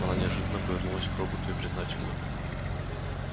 она неожиданно повернулась к роботу и признательно